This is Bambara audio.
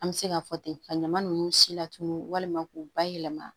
An bɛ se ka fɔ ten ka ɲaman nunnu si latunu walima k'u bayɛlɛma